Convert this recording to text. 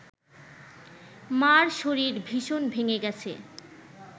মার শরীর ভীষণ ভেঙে গেছে